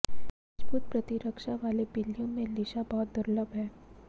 मजबूत प्रतिरक्षा वाले बिल्लियों में लिशा बहुत दुर्लभ है